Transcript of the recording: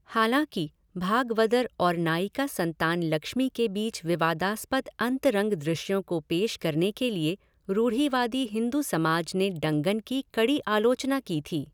हालांकि, भागवदर और नायिका संतान लक्ष्मी के बीच विवादास्पद अंतरंग दृश्यों को पेश करने के लिए रूढ़िवादी हिंदू समाज ने डंगन की कड़ी आलोचना की थी।